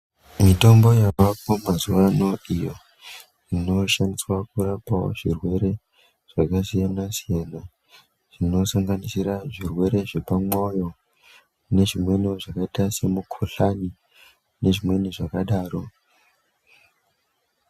Mitombo yavako mazuva ano iyo inoshandiswa kurapa zvirwere zvakasiyana-siyana zvinosanganisira zvirwere zvepamwoyo nezvimweni zvakaita semukuhlani nezvimweni zvakadaro.